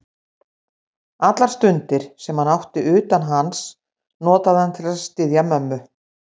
Allar stundir, sem hann átti utan hans, notaði hann til að styðja mömmu.